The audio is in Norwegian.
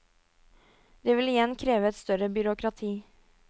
Det vil igjen kreve et større byråkrati.